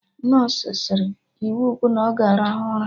Nọsụ sịrị "iwu bụ na ọ ga arahụ ụra '!